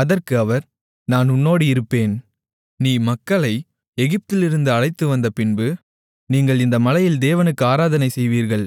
அதற்கு அவர் நான் உன்னோடு இருப்பேன் நீ மக்களை எகிப்திலிருந்து அழைத்துவந்தபின்பு நீங்கள் இந்த மலையில் தேவனுக்கு ஆராதனை செய்வீர்கள்